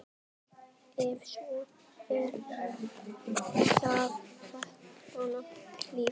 Ef svo er, hvaða lið?